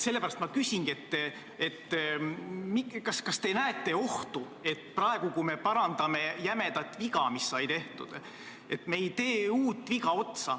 Sellepärast ma küsingi: kas te näete ohtu, et me praegu, kui me parandame kunagist jämedat viga, teeme uue vea otsa?